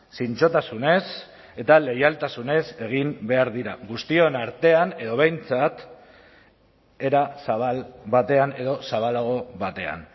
zintzotasunez eta leialtasunez egin behar dira guztion artean edo behintzat era zabal batean edo zabalago batean